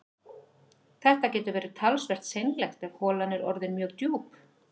Þetta getur verið talsvert seinlegt ef holan er orðin mjög djúp